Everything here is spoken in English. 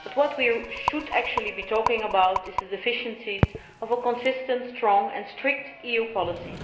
But what we should really be talking about is the deficiencies of a consistent, strong and strict EU policy.